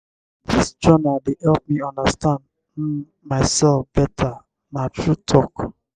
dis journal dey help me understand um mysef beta na true talk.